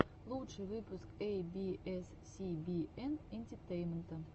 лучший выпуск эй би эс си би эн энтетейнмента